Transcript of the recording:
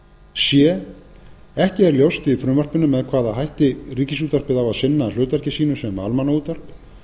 c ekki er ljóst í frumvarpinu með hvaða hætti ríkisútvarpið á að sinna hlutverki sínu sem almannaútvarp